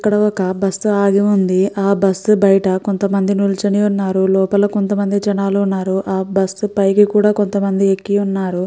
ఇక్కడ ఒక బస్సు ఆగి ఉంది. ఆ బస్సు బైట కొంతమంది నించొని ఉన్నారు. కొంతమంది జనాలు కూడా ఉన్నారు. ఆ బస్సు పైన కూడా కొంతమంది ఎక్కి ఉన్నారు .